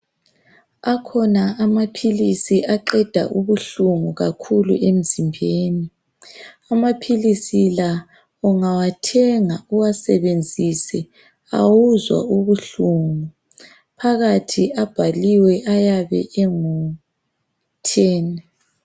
Akhona amaphilizi aqeda ubuhlungu kakhulu emzimbeni amaphisi la ungawathenga uwasebenzise awuzwa ubuhlungu phakathi abhaliwe ayaba engutheni .